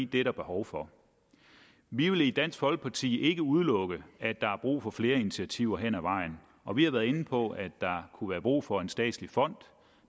det er der behov for vi vil i dansk folkeparti ikke udelukke at der er brug for flere initiativer hen ad vejen og vi har været inde på at der kunne være brug for en statslig fond